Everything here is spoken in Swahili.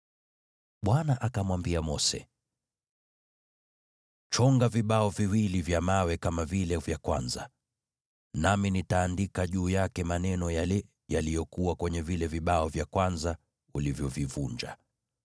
Bwana akamwambia Mose, “Chonga vibao viwili vya mawe kama vile vya kwanza, nami nitaandika juu yake maneno yale yaliyokuwa kwenye vile vibao vya kwanza, ulivyovivunja.